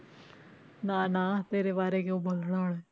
ਨਾ ਨਾ ਤੇਰੇ ਬਾਰੇ ਕਿਉਂ ਬੋਲਣਾ